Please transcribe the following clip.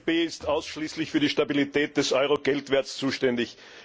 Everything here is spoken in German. Die EZB ist ausschließlich für die Stabilität des Euro Geldwerts zuständig.